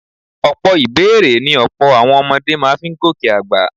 Ọ̀pọ̀ ìbẹ́èrè ni ọ̀pọ̀ àwọn ọmọdé máa fi ń gòkè àgbà